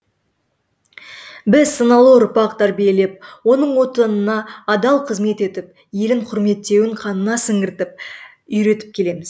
біз саналы ұрпақ тәрбиелеп оның отанына адал қызмет етіп елін құрметтеуін қанына сіңіртіп үйретіп келеміз